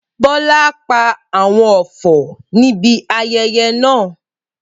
Bola pa àwon ọfọ̀ níbi ayẹyẹ náà.